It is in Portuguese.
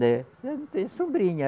É. Não tem sombrinha.